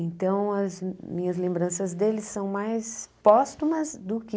Então as minhas lembranças dele são mais póstumas do que...